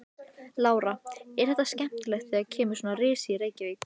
Lára: Er þetta skemmtilegt þegar kemur svona risi í Reykjavík?